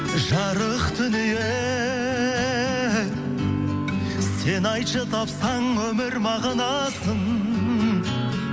жарық дүние сен айтшы тапсаң өмір мағынасын